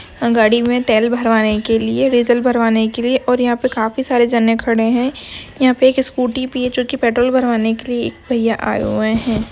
गाड़ी में तेल भरवाने के लिए रिचलभरवाने के लिए और यहाँ पर काफी सारे जनन करने है। यहाँ पे एक स्कूटी भी है। जोकि पेट्रोल भरवाने के लिए एक भैया आए हुए है।